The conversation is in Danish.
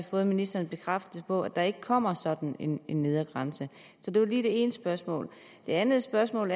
fået ministerens bekræftelse på at der ikke kommer sådan en nedre grænse det var det ene spørgsmål det andet spørgsmål